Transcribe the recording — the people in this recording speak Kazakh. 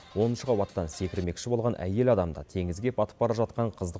оныншы қабаттан секірмекші болған әйел адамды теңізге батып бара жатқан қызды